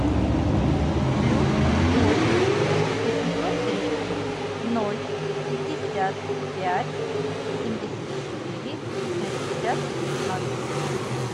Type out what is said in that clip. плюс восемь восемьсот тридцать ноль пятьдесят пять семьдесят четыре шестьдесят ноль